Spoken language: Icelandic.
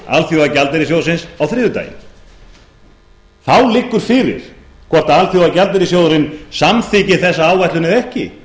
alþjóðagjaldeyrissjóðsins á þriðjudaginn þá liggur fyrir hvort alþjóðagjaldeyrissjóðurinn samþykkir þessa áætlun eða ekki